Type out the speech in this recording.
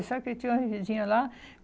E sabe que eu tinha uma vizinha lá?